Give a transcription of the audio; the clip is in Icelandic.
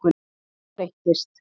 En það breytist.